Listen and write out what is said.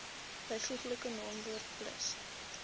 byvoeglike naamwoord plus